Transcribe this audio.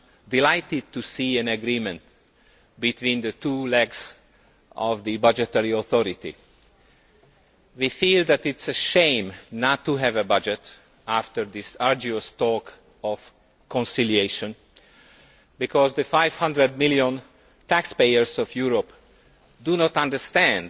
delighted to see an agreement between the two arms of the budgetary authority. We feel that it is a shame not to have a budget after all these arduous conciliation talks, because the 500 million taxpayers in Europe do not understand